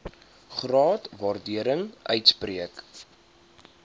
graag waardering uitspreek